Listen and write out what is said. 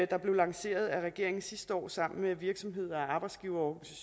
der blev lanceret af regeringen sidste år sammen med virksomheder arbejdsgivere